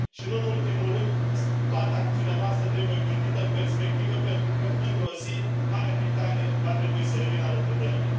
Și nu în ultimul rând, toată acțiunea noastră trebuie gândită în perspectivă, pentru că într o zi, Marea Britanie va trebui să revină alături de noi.